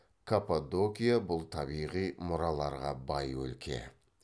каппадокия бұл табиғи мұраларға бай өлке